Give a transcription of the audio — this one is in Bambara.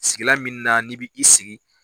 Sigilan min na n'i bɛ i sigi.